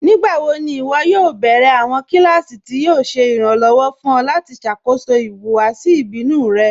Nígbàwò̀ ní ìwọ́ yóò bẹ̀rẹ̀ awọn kílásì tí yóò ṣè irànlowọ̀ fún ọ̀ lati ṣákóṣọ́ ìhùwàsì ìbínù rẹ̀?